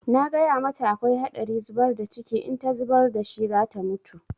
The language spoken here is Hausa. Na gaya mata akwai haɗari zubar da ciki, in ta zubar da shi za ta mutu.